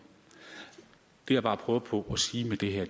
det jeg bare prøver på at sige med det